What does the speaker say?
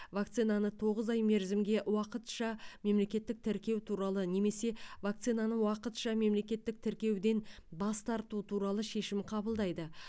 вакцинаны тоғыз ай мерзімге уақытша мемлекеттік тіркеу туралы немесе вакцинаны уақытша мемлекеттік тіркеуден бас тарту туралы шешім қабылдайды